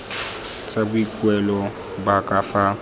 tsa boikuelo ba ka fa